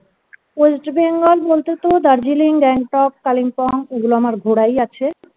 west bengal বলতে তো darjeeling Gangtok Kalimpong এগুলো আমার ঘোড়াই আছে